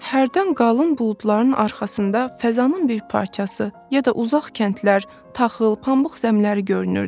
Hərdən qalın buludların arxasında fəzanın bir parçası, ya da uzaq kəndlər, taxıl, pambıq zəmləri görünürdü.